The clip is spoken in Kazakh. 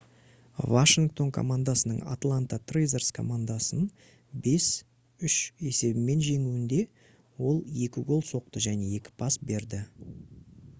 washington командасының atlanta thrashers командасын 5:3 есебімен жеңуінде ол 2 гол соқты және 2 пас берді